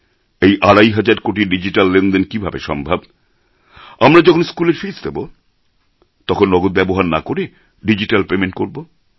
এই আড়াই হাজার কোটির ডিজিট্যাল লেনদেন কীভাবে সম্ভব আমরা যখন স্কুলের ফিজ্ দেব তখন নগদ ব্যবহার না করে ডিজিট্যাল পেমেণ্ট করবো